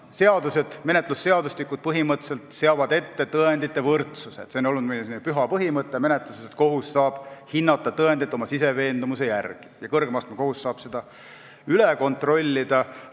Seadused, menetlusseadustikud põhimõtteliselt seavad ette tõendite võrdsuse – see on olnud meil selline menetluse püha põhimõte, et kohus saab tõendeid hinnata oma siseveendumuse järgi ja kõrgema astme kohus saab seda üle kontrollida.